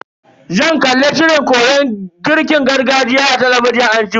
Zan kalla shirin koyon girkin gargajiya a talabijin anjima.